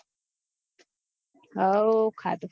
હવો ખાધુ